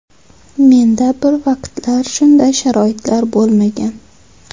Menda bir vaqtlar shunday sharoitlar bo‘lmagan.